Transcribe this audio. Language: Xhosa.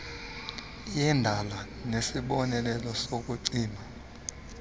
yendala nesibonelelo sokucima